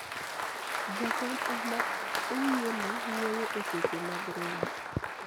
jakom ema oyiene wuoyo e seche mag romo